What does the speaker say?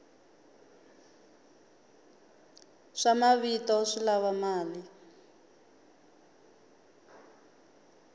swa mavito swi lava mali